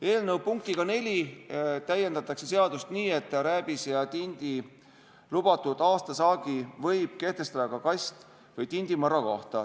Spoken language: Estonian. Eelnõu punktiga 4 täiendatakse seadust nii, et rääbise ja tindi lubatud aastasaagi võib kehtestada ka kast- või tindimõrra kohta.